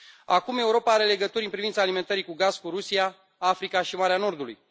Acum, Europa are legături în privința alimentării cu gaz cu Rusia, Africa și Marea Nordului.